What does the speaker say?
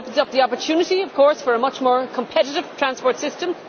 It opens up the opportunity, of course, for a much more competitive transport system.